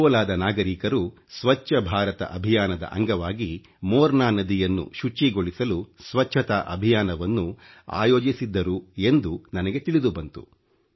ಅಕೋಲಾದ ನಾಗರೀಕರು ಸ್ವಚ್ಚ ಭಾರತ ಅಭಿಯಾನದ ಅಂಗವಾಗಿ ಮೋರ್ನಾ ನದಿಯನ್ನು ಶುಚಿಗೊಳಿಸಲು ಸ್ವಚ್ಚತಾ ಅಭಿಯಾನವನ್ನು ಆಯೋಜಿಸಿದ್ದರು ಎಂದು ನನಗೆ ತಿಳಿದು ಬಂತು